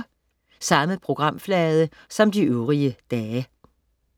Samme programflade som de øvrige dage